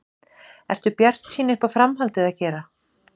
Ertu bjartsýn uppá framhaldið að gera?